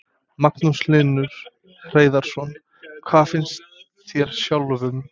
Magnús Hlynur Hreiðarsson: Hvað finnst þér sjálfum?